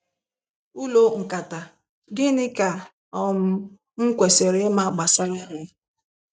Ụlọ nkata - Gịnị ka um m kwesịrị ịma gbasara ha?